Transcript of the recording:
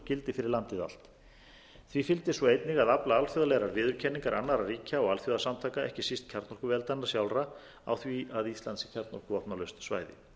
gildi fyrir landið allt því fylgdi svo einnig að afla alþjóðlegrar viðurkenningar annarra ríkja og alþjóðasamtaka ekki síst kjarnorkuveldanna sjálfra á því að ísland sé kjarnorkuvopnalaust svæði